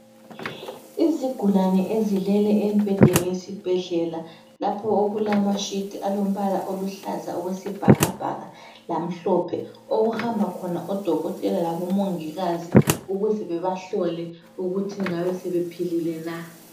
Izigulane ezilele embhedeni yesibhedlela lapho okulamashiti alombala oluhlaza okwesibhakabhaka lamhlophe okuhamba khona odokotela labomongikazi ukuze bebahlole ukuthi ngabe sebephilile na.